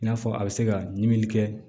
I n'a fɔ a bɛ se ka ɲimi kɛ